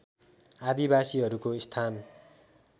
आदिवासीहरूको स्थान